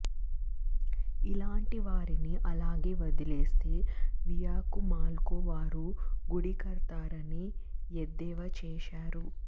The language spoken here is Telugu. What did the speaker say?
ఇలాంటి వారిని అలాగే వదిలేస్తే వియాకు మాల్కోవాకు గుడికడతారని ఎద్దేవా చేశారు